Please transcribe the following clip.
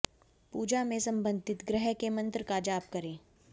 पूजा में संबंधित ग्रह के मंत्र का जाप करें